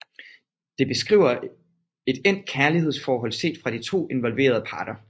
Det beskriver et endt kærlighedsforhold set fra de to involverede parter